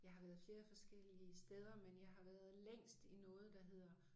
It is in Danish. Jeg har været flere forskellige steder men jeg har været længst i noget der hedder